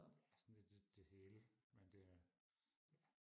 ja sådan lidt det hele men det er ja